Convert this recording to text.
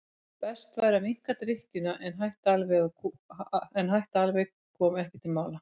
Best væri að minnka drykkjuna en að hætta alveg kom ekki til mála.